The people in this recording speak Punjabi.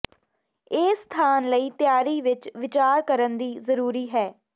ਇਹ ਸਥਾਨ ਲਈ ਤਿਆਰੀ ਵਿਚ ਵਿਚਾਰ ਕਰਨ ਦੀ ਜ਼ਰੂਰੀ ਹੈ